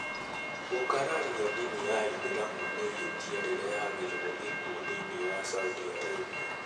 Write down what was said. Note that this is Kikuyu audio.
Gũkararia ndini ya ithĩramu nĩ ihĩtia rĩrehagĩrũo gĩkuũ thĩinĩ wa Saudi Arabia.